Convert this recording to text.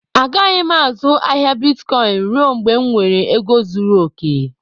A gaghị azụ ahịa bịtkọin rue mgbe m nwèrè égo zụrụ okè